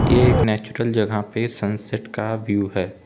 ये एक नेचुरल जगह पे सनसेट का व्यू है।